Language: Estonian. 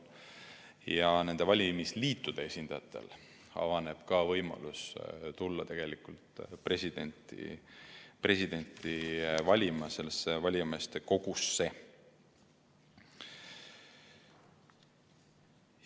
Ja nende valimisliitude esindajatel avaneb ka võimalus tulla presidenti valima sellesse valijameeste kogusse.